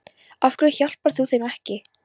Af hverju hjálpar þú þeim ekki?